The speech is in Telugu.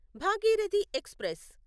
భాగీరథి ఎక్స్ప్రెస్